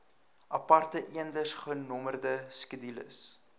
aparte eendersgenommerde skedules